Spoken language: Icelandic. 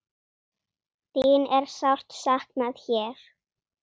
Þín er sárt saknað hér.